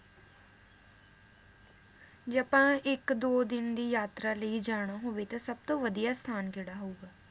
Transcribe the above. ਜੇ ਆਪਾਂ ਇਕ ਦੋ ਦਿਨ ਦੀ ਯਾਤਰਾ ਲਈ ਜਾਣਾ ਹੋਵੇ ਤਾਂ ਸਬਤੋਂ ਵਧੀਆ ਸਥਾਨ ਕੇਹੜਾ ਹੋਊਗਾ?